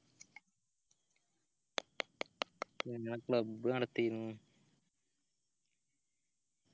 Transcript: പിന്നെ club നടത്തീന്